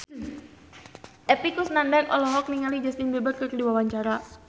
Epy Kusnandar olohok ningali Justin Beiber keur diwawancara